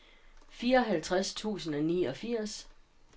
fireoghalvtreds tusind og niogfirs